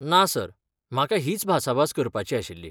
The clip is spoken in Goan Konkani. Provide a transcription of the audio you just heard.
ना, सर, म्हाका हीच भासाभास करपाची आशिल्ली.